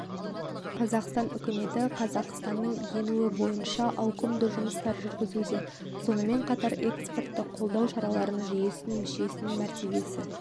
қазақстан үкіметі қазақстанның енуі бойынша ауқымды жұмыстар жүргізуде сонымен қатар экспортты қолдау шаралары жүйесін мүшесінің мәртебесі